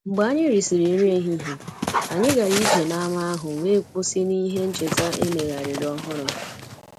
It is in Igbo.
Mgbe anyị risịrị nri ehihie, anyị gara ije n’ámá ahụ wee kwụsị n’ihe ncheta e megharịrị ọhụrụ